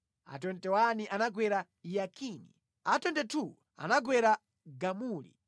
a 21 anagwera Yakini, a 22 anagwera Gamuli,